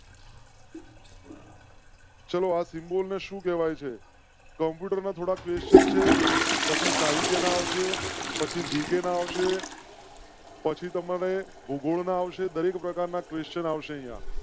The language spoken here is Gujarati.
ચલો આ symbol ને સુ કેવાય છે કમ્પ્યુટર ના થોડા ક્વે question છે. પછી સાહિત્ય ના આવશે. પછી જીકેન આવશે? પછી તમારે આવશે. દરેક પ્રકાર ના question આવશે અહીંયા